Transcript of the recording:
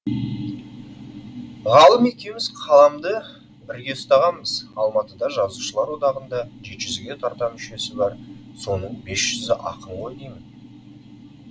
ғалым екеуміз қаламды бірге ұстағанбыз алматыда жазушылар одағында жеті жүзге тарта мүшесі бар соның бес жүзі ақын ғой деймін